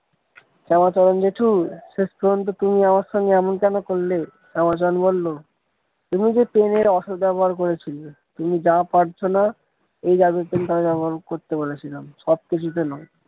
শ্যামাচরণ জেঠু শেষ পর্যন্ত তুমি আমার সাথে এমন কেন করলে শ্যামাচরণ বলল তুমি যে pen এর অসৎ ব্যবহার করেছে যে তুমি যা পারছো না এই জাদু pen টা ব্যবহার করতে বলেছিলাম সবকিছুতে নয়।